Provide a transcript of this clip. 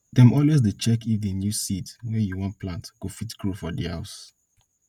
dem always dey check if di new seeds wey u wan plant go fit grow for di house